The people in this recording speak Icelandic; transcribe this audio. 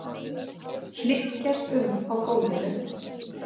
Hlykkjast um á gólfinu.